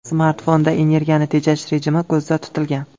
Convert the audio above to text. Smartfonda energiyani tejash rejimi ko‘zda tutilgan.